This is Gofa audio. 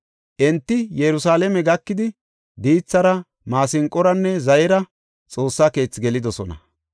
Enti Yerusalaame gakidi diithara, maasinqoranne zayera Xoossa keethi gelidosona.